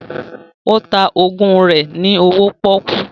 Ó ta ògùn rẹ ní owó pọ́kú